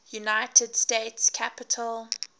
united states capitol